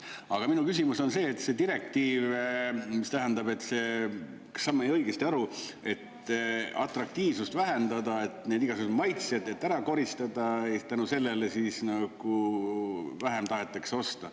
Aga minu küsimus on see, et see direktiiv, mis tähendab, et see … kas sain ma õigesti aru, et atraktiivsust vähendada, et need igasugused maitsed ära koristada, ehk tänu sellele siis nagu vähem tahetakse osta.